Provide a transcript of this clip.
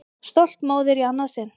Stolt móðir í annað sinn.